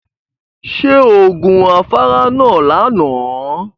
Ṣé o gun afárá náà lánàá?